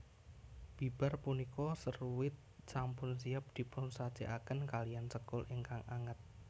Bibar punika seruit sampun siap dipunsajèkaken kalihan sekul ingkang anget